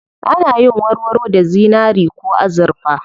Ana yin warwaro da zinari ko azurfa.